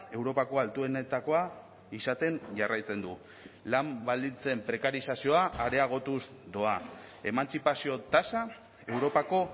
europako altuenetakoa izaten jarraitzen du lan baldintzen prekarizazioa areagotuz doa emantzipazio tasa europako